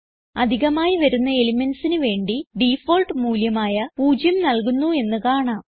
അധികമായി വരുന്ന elementsന് വേണ്ടി ഡിഫോൾട്ട് മൂല്യമായ 0 നൽകുന്നു എന്ന് കാണാം